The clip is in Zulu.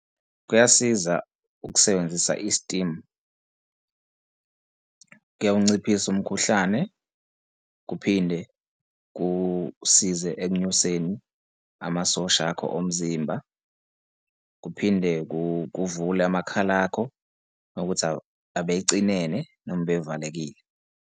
Kuyasiza ukusebenzisa i-steam. Kuyawunciphisa umkhuhlane, kuphinde kusize ekunyuseni amasosha akho omzimba, kuphinde kuvule amakhala akho uma kuwukuthi abecinene noma bevalekile.